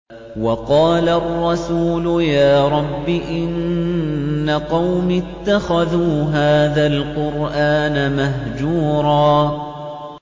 وَقَالَ الرَّسُولُ يَا رَبِّ إِنَّ قَوْمِي اتَّخَذُوا هَٰذَا الْقُرْآنَ مَهْجُورًا